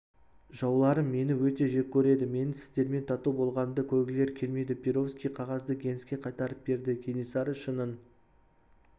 жауларым мені өте жек көреді менің сіздермен тату болғанымды көргілері келмейді перовский қағазды генске қайтарып берді кенесары шынын